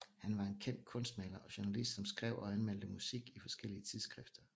Han var en kendt kunstmaler og journalist som skrev og anmeldte musik i forskellige tidsskrifter